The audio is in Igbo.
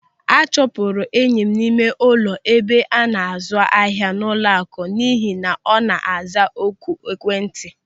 A chụpụrụ enyi m n'ime ụlọ ebe ana-azụ ahịa n'ụlọaku n'ihi na ọ na-aza oku n'ekwentị.